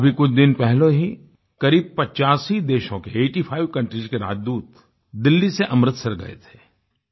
अभी कुछ दिन पहले ही करीब 85 देशों के आइटी फाइव कंट्रीज के राजदूत दिल्ली से अमृतसर गये थे